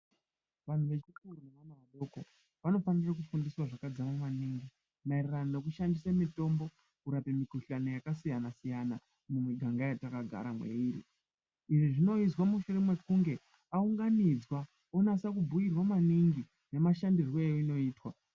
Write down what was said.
Vandu vakaita vechidoko vanofanirwe kufundiswa zvakadzara maningi mayererano nekushandisa mitombo kurambe mikhuhlane yakasiyana siyana mumiganga yataka gara mairi izvzvi zvinoizwa mushure mekunge aunganidzwa onyatso kubhuyirwa maningi nemushandiro eyinoitwa